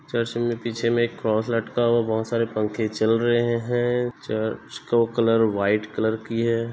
चर्चा में पीछे में एक क्रॉस लटका है वहाँ बहुत सारे पंखे चल रहे है चर्च का कलर वाइट कलर किये है।